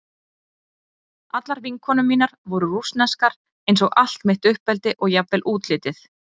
Allar vinkonur mínar voru rússneskar eins og allt mitt uppeldi og jafnvel útlitið.